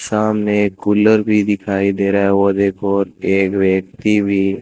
सामने एक कूलर भी दिखाई दे रहा है और एक ओर एक व्यक्ति भी--